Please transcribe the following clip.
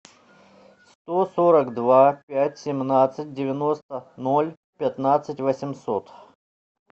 сто сорок два пять семнадцать девяносто ноль пятнадцать восемьсот